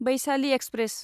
Vaishali express